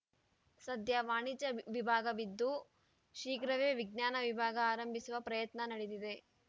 ಸದ್ಯ ವಾಣಿಜ್ಯ ವಿಭಾಗವಿದ್ದು ಶೀಘ್ರವೇ ವಿಜ್ಞಾನ ವಿಭಾಗ ಆರಂಭಿಸುವ ಪ್ರಯತ್ನ ನಡೆದಿದೆ